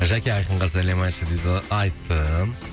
жәке айқынға сәлем айтшы дейді айттым